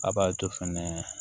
A b'a to fɛnɛ